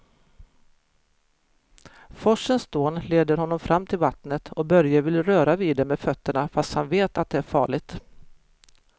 Forsens dån leder honom fram till vattnet och Börje vill röra vid det med fötterna, fast han vet att det är farligt.